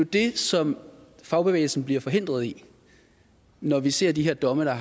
det som fagbevægelsen bliver forhindret i når vi ser de her domme der